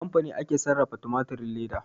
A kamfani ake sarrafa tumatirin leda